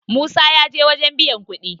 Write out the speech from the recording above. musa ya je wajen biyan kuɗi